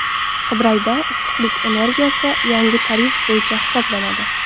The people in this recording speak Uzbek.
Qibrayda issiqlik energiyasi yangi tarif bo‘yicha hisoblanadi.